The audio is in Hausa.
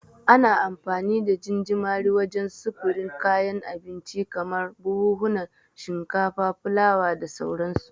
Ana amfani da gingimari wajen sufurin kayan abinci kamar buhunan shinkafa, fulawa da sauransu.